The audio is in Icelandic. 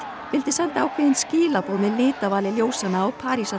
vildi senda ákveðin skilaboð með litavali ljósanna á